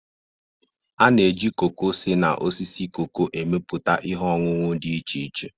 A na-eji koko si na osisi koko emepụta ihe ọñụñụ dị iche iche.